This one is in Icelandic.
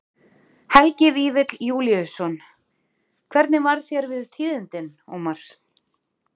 Helgi Vífill Júlíusson: Hvernig varð þér við tíðindin, Ómar?